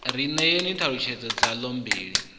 ri ṋeeni ṱhalutshedzo dzaḽo mbili